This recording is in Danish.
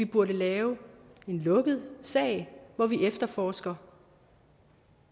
burde lave en lukket sag hvor vi efterforsker